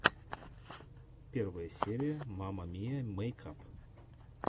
первая серия мама миа мэйкап